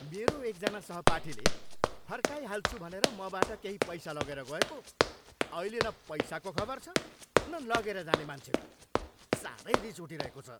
मेरो एकजना सहपाठीले फर्काइहाल्छु भनेर मबाट केही पैसा लगेर गएको, अहिले न पैसाको खबर छ न लगेर जाने मान्छेको। साह्रै रिस उठिरहेको छ।